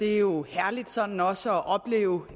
det er jo herligt sådan også at opleve